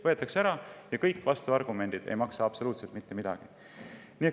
Võetakse ära ja kõik vastuargumendid ei maksa absoluutselt mitte midagi.